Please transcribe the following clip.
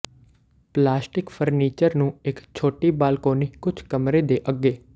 plastic furniture ਨੂੰ ਇੱਕ ਛੋਟੀ ਬਾਲਕੋਨੀ ਕੁਝ ਕਮਰੇ ਦੇ ਅੱਗੇ